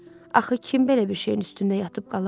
Axı kim belə bir şeyin üstündə yatıb qalar?